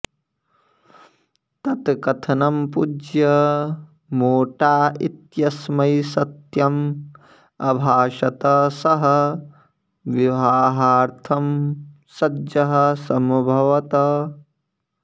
तत् कथनं पूज्य मोटा इत्यस्मै सत्यम् अभाषत सः विवाहार्थं सज्जः समभवत्